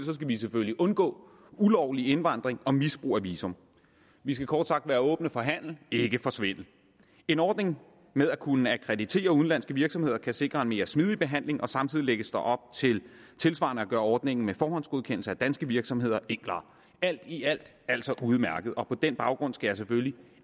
skal vi selvfølgelig undgå ulovlig indvandring og misbrug af visum vi skal kort sagt være åbne for handel ikke for svindel en ordning med at kunne akkreditere udenlandske virksomheder kan sikre en mere smidig behandling og samtidig lægges der op til tilsvarende at gøre ordningen med forhåndsgodkendelse af danske virksomheder enklere alt i alt er altså udmærket og på den baggrund skal jeg selvfølgelig